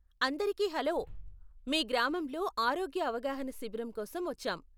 అందరికీ హలో, మీ గ్రామంలో ఆరోగ్య అవగాహన శిబిరం కోసం వచ్చాం.